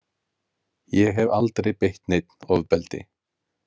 Ég hef aldrei beitt neinn ofbeldi.